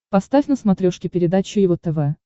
поставь на смотрешке передачу его тв